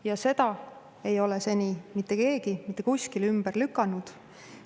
Ja seda ei ole seni mitte keegi mitte kuskil ümber lükanud.